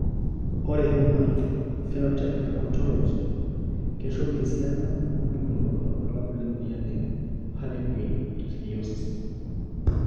Ore Human Phenotype Ontology Keishoru esiana ompukunot wobulabul lemoyian e Harlequin ichthyosis.